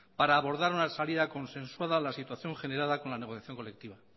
para abordar una salida consensuada a la situación generada con la negociación colectiva